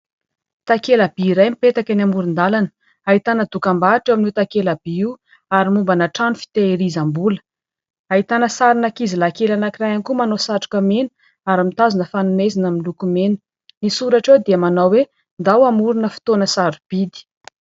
Takela-by iray, mipetaka eny amoron-dalana, ahitana dokam-barotra eo amin'io takela- by io, ary mombana trano fiteherizam-bola ; ahitana sarin'ankizilahy kely anankiray ihany koa manao satroka mena ary mitazona fanomezana miloko mena. Ny soratra eo dia manao hoe :" Andao hamorona fotoana sarobidy".